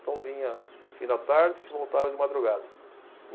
Então vinha fim da tarde e voltava de madrugada.